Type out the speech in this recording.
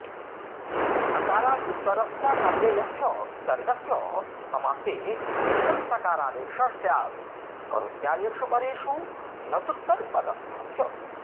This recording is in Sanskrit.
अकारादुत्तरस्यानव्ययस्य विसर्गस्य समासे नित्यं सकारादेशः स्यात्करोत्यादिषु परेषु न तूत्तरपदस्थस्य